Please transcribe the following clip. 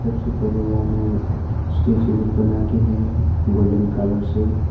सबसे पहले यहां में स्टैचू लोग बना के है गोल्डन कलर से।